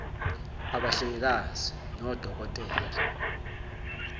abahlengikazi nodoko tela